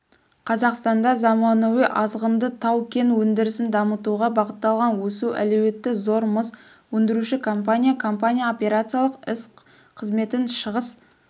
қазақстанда заманауи азшығынды тау-кен өндірісін дамытуға бағытталған өсу әлеуеті зор мыс өндіруші компания компания операциялық іс-қызметіншығыс